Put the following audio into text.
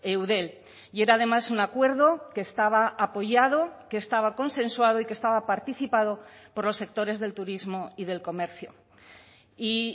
eudel y era además un acuerdo que estaba apoyado que estaba consensuado y que estaba participado por los sectores del turismo y del comercio y